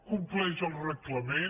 compleix el reglament